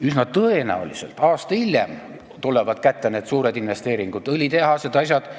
Üsna tõenäoliselt aasta hiljem tulevad kätte need suured investeeringud, õlitehased ja asjad.